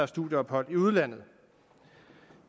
studieophold i udlandet